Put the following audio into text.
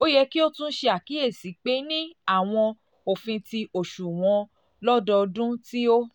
o yẹ ki o tun ṣe akiyesi pe ni awọn ofin ti oṣuwọn um lododun ti o